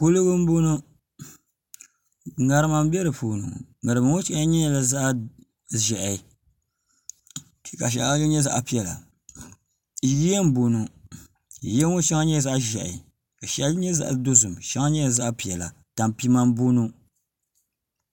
kuligi n boŋo ŋarima n bɛ di puuni ŋo ŋarima ŋo shɛli nyɛla zaɣ ʒiɛhi ka shɛŋa nyɛ zaɣ piɛla yiya n boŋo yiya ŋo shɛli nyɛla zaɣ ʒiɛhi ka shɛli nyɛ zaɣ dozim shɛli nyɛla zaɣ piɛla tanpima n boŋo